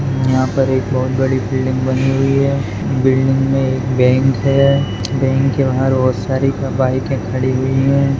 यहाँ पर एक बहुत बड़ी बिल्डिंग बनी हुई है बिल्डिंग में एक बैंक है बैंक के बाहर बहुत सारी बाइक खड़ी हुई है।